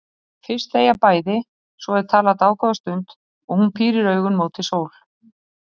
Fyrst þegja bæði, svo er talað dágóða stund og hún pírir augun móti sól.